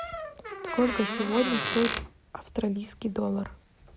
сколько сегодня стоит австралийский доллар